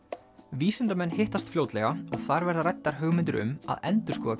vísindamenn hittast fljótlega og þar verða ræddar hugmyndir um að endurskoða